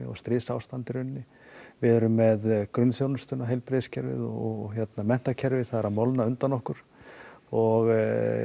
og stríðsástand í rauninni við erum með grunnþjónustuna heilbrigðiskerfið og menntakerfið það er að molna undan okkur og